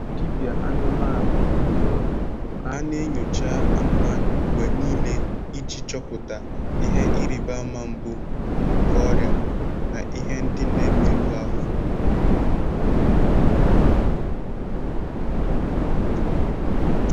Dibịa anụmanụ dụrụ ọdụ ka a na-enyocha anụmanụ mgbe nile iji chọpụta ihe ịrịba ama mbụ nke ọrịa na ihe ndị na-emerụ ahụ.